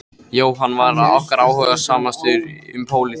Jóhann var okkar áhugasamastur um pólitík.